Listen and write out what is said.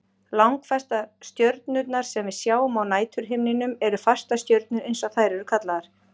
Langflestar stjörnurnar sem við sjáum á næturhimninum eru fastastjörnur eins og þær eru kallaðar.